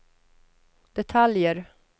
detaljer